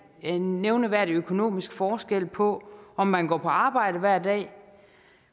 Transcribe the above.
en nævneværdig økonomisk forskel på om man går på arbejde hver dag